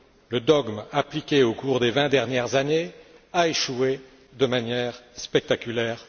Le dogme appliqué au cours des vingt dernières années a échoué de manière spectaculaire.